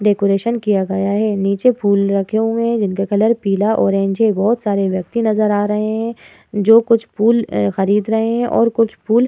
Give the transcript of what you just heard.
Decoration किया गया है। नीचे फूल रखे हुए हैं। जिनका कलर पीला ऑरेंज है। बहोत सारे व्यक्ति नजर आ रहे हैं जो कुछ फूल एँ खरीद रहे हैं और कुछ फूल --